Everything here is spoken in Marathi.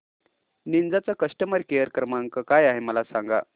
निंजा चा कस्टमर केअर क्रमांक काय आहे मला सांगा